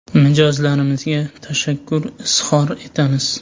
Mijozlarimizga tashakkur izhor etamiz.